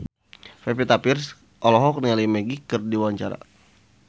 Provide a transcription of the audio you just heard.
Pevita Pearce olohok ningali Magic keur diwawancara